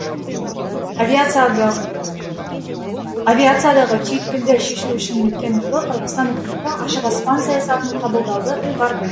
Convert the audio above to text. авиациядағы түйткілді шешу үшін өткен жылы қырғызстан үкіметі ашық аспан саясатын қабылдауды ұйғарды